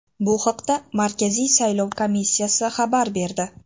Bu haqda Markaziy saylov komissiyasi xabar berdi.